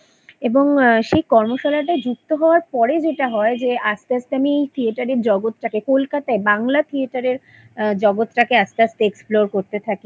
এবং সেই কর্মশালাতে যুক্ত হবার পরে যেটা হয় যে আস্তে আস্তে আমি থিয়েটারের জগৎটাকে কলকাতায় বাংলা থিয়েটারের জগৎটাকে আস্তে আস্তে Explore করতে থাকি